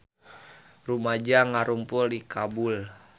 Rumaja ngarumpul di Kabul